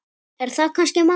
Er það kannski málið?